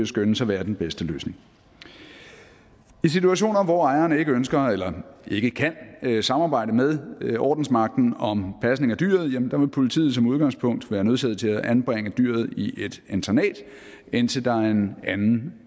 skønnes at være den bedste løsning i situationer hvor ejeren ikke ønsker eller ikke kan samarbejde med ordensmagten om pasning af dyret vil politiet som udgangspunkt være nødsaget til at anbringe dyret i et internat indtil der er en anden